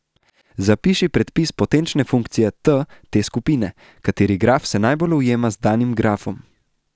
Zapiši predpis potenčne funkcije t te skupine, katere graf se najbolj ujema z danim grafom.